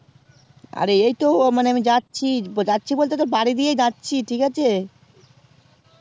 আরে এই তো মানে আমি যাচ্ছি যাচ্ছি বলতে তোর বাড়ি দিয়ে যাচ্ছি ঠিক আছে